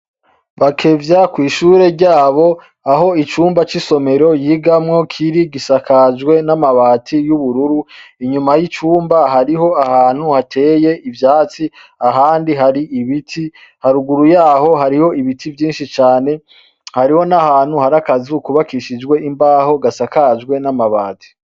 Bakevya kwishure ryabo aho icumba c'isomero yigamwo Kiri gisakajwe n'amabati y'ubururu, inyuma y' icumba hariho ahantu hateye ivyatsi ahandi hari ibiti haruguru yaho hariho ibiti vyinshi cane, hariho n'ahantu hari akazu kubakishijwe imbaho gasakajwe n'amabati.